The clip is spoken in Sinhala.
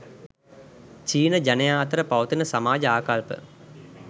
චීන ජනයා අතර පවතින සමාජ ආකල්ප